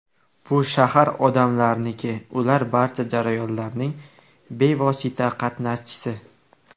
Bu shahar odamlarniki, ular barcha jarayonlarning bevosita qatnashchisi.